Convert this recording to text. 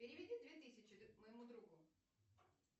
переведи две тысячи моему другу